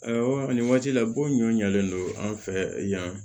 nin waati la bon ɲɔ ɲɔlen don an fɛ yan